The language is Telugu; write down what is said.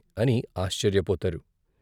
అని ఆశ్చర్యపోతారు.